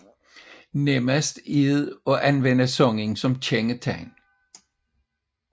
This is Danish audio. Nemmest er det at anvende sangen som kendetegn